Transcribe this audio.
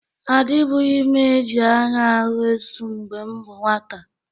Adịbụghị m e ji anya ahụ esu mgbe m bụ nwata.